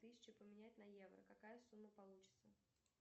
тысячу поменять на евро какая сумма получится